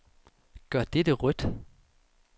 Gør dette rødt.